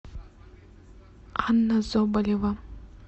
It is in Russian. анна соболева